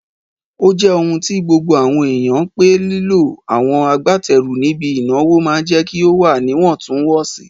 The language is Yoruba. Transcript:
Ó jẹ́ ohun tí gbogbo àwọn èèyàn pé lílo àwọn agbátẹrù níbi ìnáwó máa jẹ́ kí ó wà níwọ̀ntún-wọ̀nsì